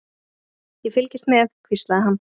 Ég fylgist með, hvíslaði hann.